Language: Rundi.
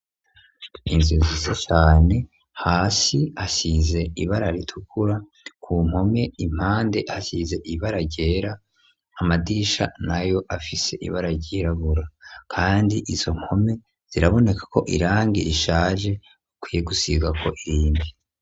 Inzozizo cyane hasi asize ibara ritukura ku mpome impande hasize ibararyera amadisha nayo afise ibara ryirabura kandi izo mpome ziraboneka ko irangi rishaje ukwiye gusiga ko irindi.